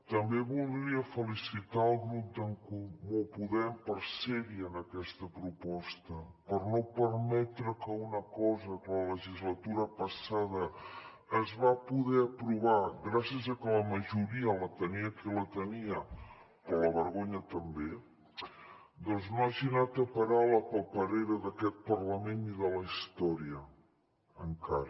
també voldria felicitar el grup d’en comú podem per ser hi en aquesta proposta per no permetre que una cosa que la legislatura passada es va poder aprovar gràcies a que la majoria la tenia qui la tenia però la vergonya també doncs no hagi anat a parar a la paperera d’aquest parlament i de la història encara